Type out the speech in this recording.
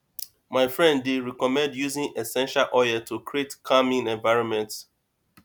my friend dey recommend using essential oils to create calming environment